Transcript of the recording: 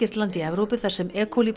landið í Evrópu þar sem